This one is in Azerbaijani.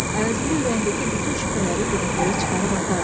Əvəzində ürəyindəki bütün şübhələri birdəfəlik çıxarıb atardı.